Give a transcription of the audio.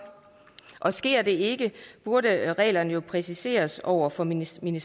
og sker det ikke burde reglerne jo præciseres over for ministerierne